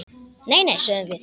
Nei, nei, sögðum við.